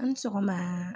An ni sɔgɔma